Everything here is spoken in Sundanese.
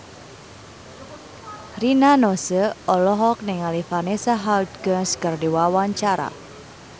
Rina Nose olohok ningali Vanessa Hudgens keur diwawancara